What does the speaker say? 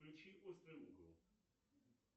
включи острый угол